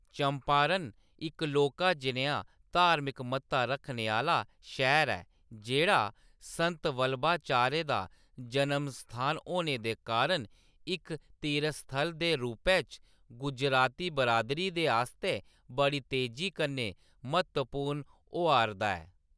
चंपारण इक लौह्‌‌‌का जनेहा धार्मक म्हत्ता रक्खने आह्‌‌‌ला शैह्‌र ऐ, जेह्‌‌ड़ा संत वल्लभाचार्य दा जनमस्थान होने दे कारण इक तीर्थस्थल दे रूपै च गुजराती बिरादरी दे आस्तै बड़ी तेजी कन्नै म्हत्तवपूर्ण होआ'रदा ऐ।